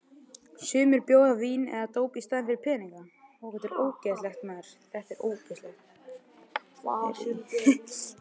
Sumir bjóða vín eða dóp í staðinn fyrir peninga.